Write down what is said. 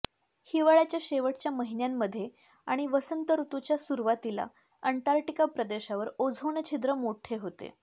हिवाळ्याच्या शेवटच्या महिन्यांमध्ये आणि वसंत ऋतूच्या सुरुवातीला अंटार्क्टिक प्रदेशावर ओझोन छिद्र मोठे होते